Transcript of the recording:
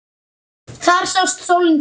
Þar sást sólin fyrr.